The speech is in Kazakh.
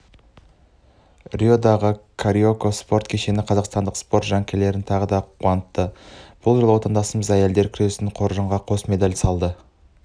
риодағы кариока спорт кешені қазақстандық спорт жанкүйерлерін тағы да қуантты бұл жолы отандастарымыз әйелдер күресінен қоржынға қос медаль салды